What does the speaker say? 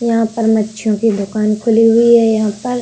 यहां पर मच्छियों कि दुकान खुली हुई है। यहां पर --